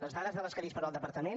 les dades de què disposa el departament